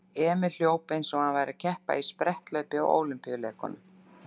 Emil hljóp eins og hann væri að keppa í spretthlaupi á Ólympíuleikunum.